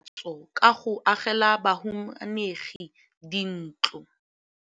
Mmasepala o neetse tokafatsô ka go agela bahumanegi dintlo.